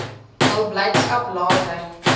hul blydskap later